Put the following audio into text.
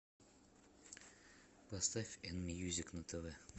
поставь н мьюзик на тв